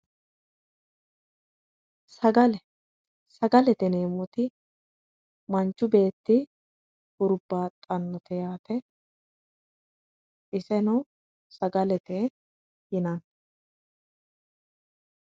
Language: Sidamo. Sagale, sagalete yineemmoti manchu beetti huribbaxanote yaate ,iseno sagalete yinanni.